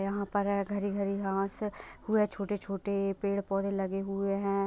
यहाँ पर हैं हरी - हरी घास ऊ हैं छोटे - छोटे पेड़ पौधे लगे हुए हैं।